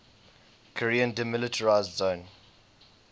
korean demilitarized zone